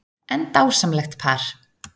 En dásamlegt par